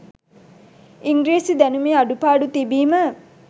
ඉංග්‍රීසි දැනුමේ අඩු පාඩු තිබීම